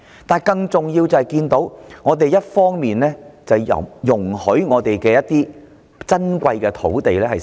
但是，更重要的是，我們看到政府一方面容許香港的珍貴土地遭閒置。